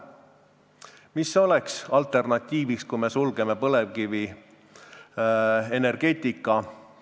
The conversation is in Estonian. Mis oleks alternatiiviks, kui me loobume põlevkivienergeetikast?